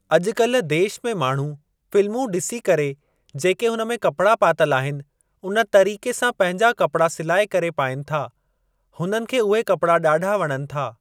अॼुकल्ह देश में माण्हू फिल्मूं ॾिसी करे जेके हुन में कपड़ा पातल आहिनि उन तरीक़े सां पंहिंजा कपड़ा सिलाए करे पाइनि था हुननि खे उहे कपड़ा ॾाढा वणनि था।